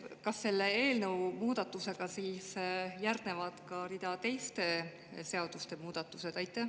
Kas selle eelnõu muudatusega siis järgnevad ka teiste seaduste muudatused?